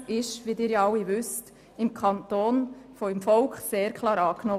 Er wurde im Grossen Rat klar angenommen.